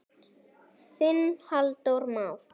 Þinn Halldór Már.